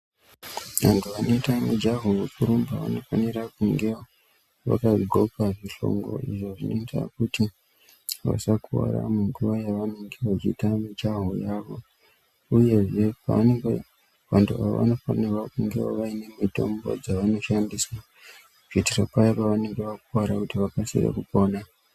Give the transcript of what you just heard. Vantu vanoita mujaho wekurumba vanofane kunge vakadhloka zvishongo, izvo zvinoita kuti vasakuwara munguva yavanenge vachiita mijaho yavo uyezve pavanenge vari, vantu ava vanofanirwa kunge vane mitombo dzavanoshandisa, kuitira paya pavanenge vakuwara kuitira kuti vakasire kupona.